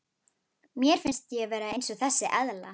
Mér finnst ég vera eins og þessi eðla.